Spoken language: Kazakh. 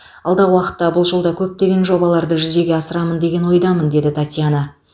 алдағы уақытта бұл жолда көптеген жобаларды жүзеге асырамын деген ойдамын деді татьяна